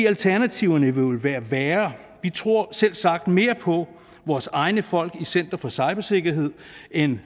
alternativerne jo vil være værre vi tror selvsagt mere på vores egne folk i center for cybersikkerhed end